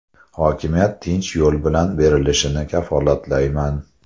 Hokimiyat tinch yo‘l bilan berilishini kafolatlayman.